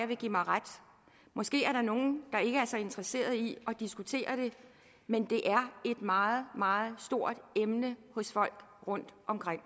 vil give mig ret måske er der nogen der ikke er så interesserede i at diskutere det men det er et meget meget stort emne hos folk rundtomkring